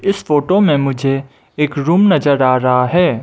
इस फोटो में मुझे एक रूम नजर आ रहा है।